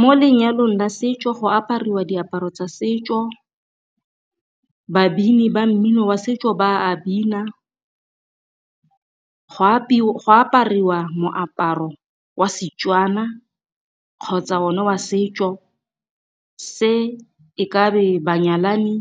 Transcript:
Mo lenyalong la setso go aparwa diaparo tsa setso, babini ba mmino wa setso ba a bina. Go apariwa moaparo wa Setswana kgotsa o ne wa setso, se e kabe ba nyalani,